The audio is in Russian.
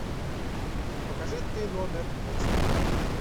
покажи ты номер на тиви